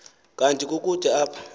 kanti kukude apho